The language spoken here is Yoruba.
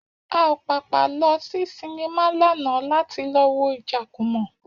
A ò pàpà lọ sí sinimá lánàá láti lọ wo Ìjàkùmọ̀